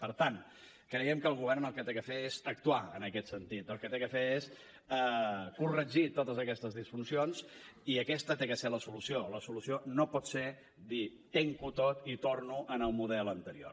per tant creiem que el govern el que ha de fer és actuar en aquest sentit el que ha de fer és corregir totes aquestes disfuncions i aquesta ha de ser la solució la solució no pot ser dir ho tanco tot i torno al model anterior